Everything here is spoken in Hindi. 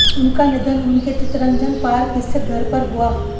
उनका निधन उनके चितरंजन पार्क स्थित घर पर हुआ